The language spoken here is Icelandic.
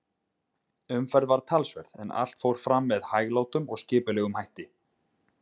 Umferð var talsverð, en allt fór fram með hæglátum og skipulegum hætti.